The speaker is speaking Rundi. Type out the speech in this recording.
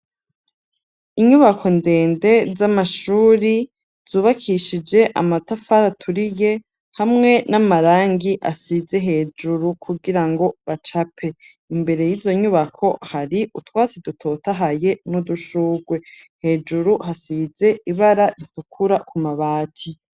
Inyubako ndende z'amashuri zubakishije amatafari aturiye hamwe n'amarangi asize hejuru kugira ngo bacape. Imbere y'izo nyubako hari utwatsi dutotahaye n'udushurwe, hejuru hasize ibara ritukura ku mabati.